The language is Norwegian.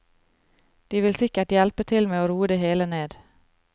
De vil sikkert hjelpe til med å roe det hele ned.